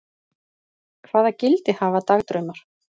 Hvaða gildi hafa dagdraumar?